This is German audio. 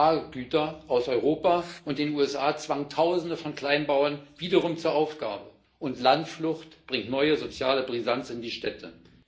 Agrargüter aus Europa und den USA zwangen Tausende von Kleinbauern wieder zur Aufgabe ihre Betriebe, und Landflucht bringt neue soziale Brisanz in die Städte.